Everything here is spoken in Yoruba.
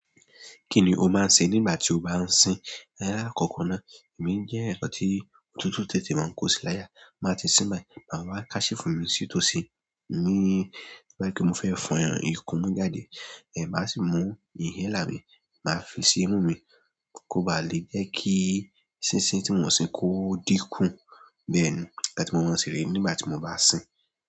Kí ni o máa ń ṣe nígbà tí o bá ń sin? Lákọkọ náà, èmi jẹ́ èèyàn tí òtútù tètè máa ń kó sílàyà. Máa ti sin báyìí, ma ma wa handkerchief mi sí tó sí. Èmi bá kí i mo fẹ́ fọn ìkún mú jáde, ẹ̀ máa sì mú inhaler mí, máa fi sí imú mi kó baà le jẹ́ kí sín-sín tí mo ń sin kó dínkùn. Bẹ́ẹ̀ ni nkán tí mo máa ń ṣe rè nígbà tí mo bá sín.